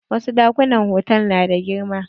Wasu ɗakunan hotal na da girma.